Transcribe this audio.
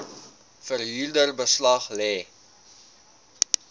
verhuurder beslag lê